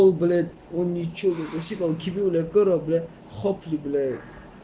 блять он ничего не просил дебил я корабля хоп являют